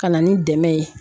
Ka na ni dɛmɛ ye